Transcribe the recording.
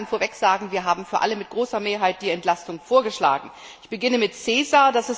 Ich kann vorweg sagen, wir haben für alle mit großer Mehrheit die Entlastung vorgeschlagen. Ich beginne mit CESAR.